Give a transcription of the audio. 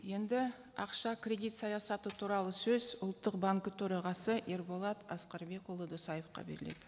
енді ақша кредит саясаты туралы сөз ұлттық банкі төрағасы ерболат асқарбекұлы досаевқа беріледі